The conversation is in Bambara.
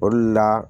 O de la